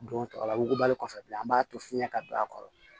Don tɔ la wugubali kɔfɛ bilen an b'a to fiɲɛ ka don a kɔrɔ